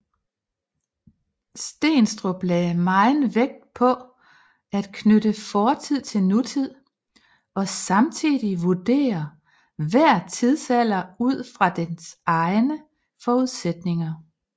Steenstrup lagde megen vægt på at knytte fortid til nutid og samtidig vurdere hver tidsalder ud fra dens egne forudsætninger